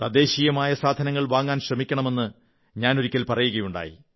തദ്ദേശീയമായ സാധനങ്ങൾ വാങ്ങാൻ ശ്രമിക്കണമെന്ന് ഞാനൊരിക്കൽ പറയുകയുണ്ടായി